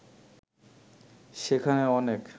সেখানে অনেক